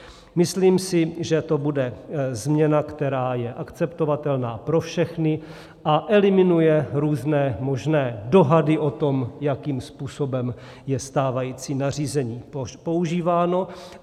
Myslím si, že to bude změna, která je akceptovatelná pro všechny a eliminuje různé možné dohady o tom, jakým způsobem je stávající nařízení používáno.